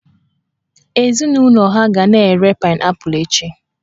Ezinụlọ ha ga na-ere paịnaịpụlụ echi